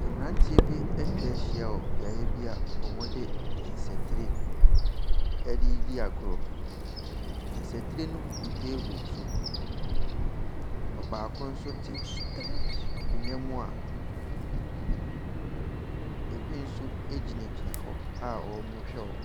Mmranteɛ bi atwa ahyia wɔ beaeɛ bi wɔde nsatire redi agorɔ. Nsatire no gugu table so, ɔbaako nso te ankonnwa mu a ebi nso gyinagyina hɔ a wɔrehwɛ wɔn.